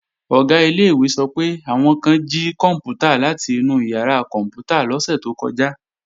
Ọ̀gá ilé-ìwé sọ pé, àwọn kan jí kòǹpútà láti inú ìyàrá kòǹpútà lọ́sẹ̀ tó kọjá